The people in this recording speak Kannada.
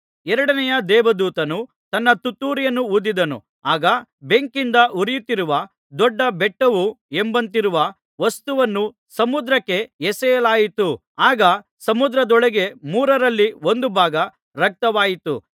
ಎರಡನೆಯ ದೇವದೂತನು ತನ್ನ ತುತ್ತೂರಿಯನ್ನು ಊದಿದನು ಆಗ ಬೆಂಕಿಯಿಂದ ಉರಿಯುತ್ತಿರುವ ದೊಡ್ಡ ಬೆಟ್ಟವೋ ಎಂಬಂತಿರುವ ವಸ್ತುವನ್ನು ಸಮುದ್ರಕ್ಕೆ ಎಸೆಯಲಾಯಿತು ಆಗ ಸಮುದ್ರದೊಳಗೆ ಮೂರರಲ್ಲಿ ಒಂದು ಭಾಗ ರಕ್ತವಾಯಿತು